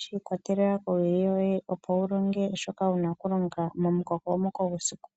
Shi ikwatelela kowili yoye. Opo wu longe shoka wuna okulonga momu kokomoko gwesiku.